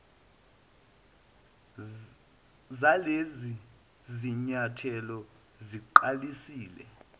zalezi zinyathelo siqalisile